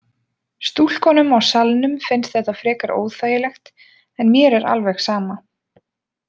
Stúlkunum á salnum finnst þetta frekar óþægilegt en mér er alveg sama.